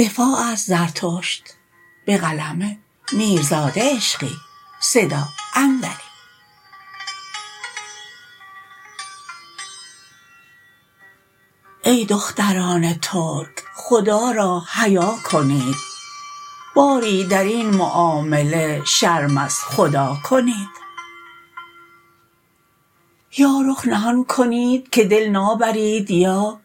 ای دختران ترک خدا را حیا کنید باری در این معامله شرم از خدا کنید یا رخ نهان کنید که دل نابرید یا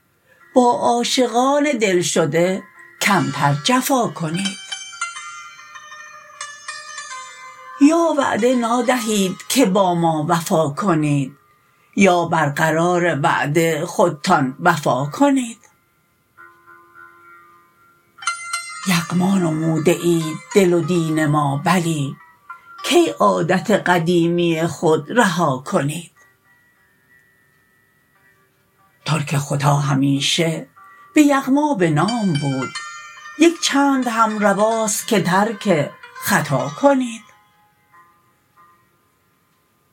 با عاشقان دلشده کمتر جفا کنید یا وعده نادهید که با ما وفا کنید یا برقرار وعده خودتان وفا کنید یغما نموده اید دل و دین ما بلی کی عادت قدیمی خود رها کنید ترک ختا همیشه به یغما به نام بود یک چندهم رواست که ترک خطا کنید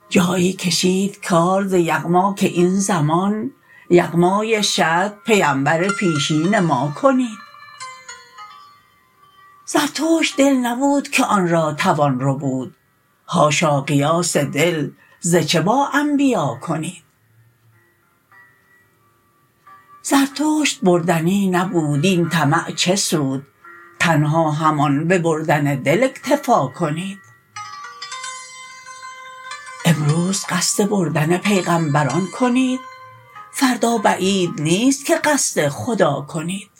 جایی کشید کار ز یغما که این زمان یغمای شت پیمبر پیشین ما کنید زرتشت دل نبود که آن را توان ربود حاشا قیاس دل ز چه با انبیا کنید زرتشت بردنی نبود این طمع چه سود تنها همان ببردن دل اکتفا کنید امروز قصد بردن پیغمبران کنید فردا بعید نیست که قصد خدا کنید